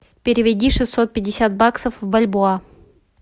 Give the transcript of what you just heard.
переведи шестьсот пятьдесят баксов в бальбоа